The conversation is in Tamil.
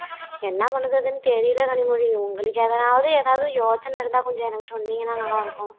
என்ன பண்ணுததுன்னு தெரியல கனிமொழி உங்களுக்கு எதாவது எதாவது யோசனை இருந்தா கொஞ்சம் எனக்கு சொன்னீங்கன்னா நல்லா இருக்கும்